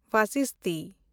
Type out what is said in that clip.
ᱵᱚᱥᱤᱥᱴᱤ